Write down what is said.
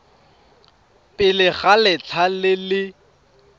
pele ga letlha le le